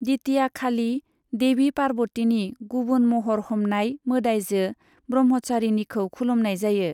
द्वितीयाखालि, देवी पार्वतीनि गुबुन महर हमनाय, मोदाइजो ब्रह्मचारिणीखौ खुलुमनाय जायो।